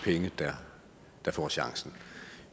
penge der får chancen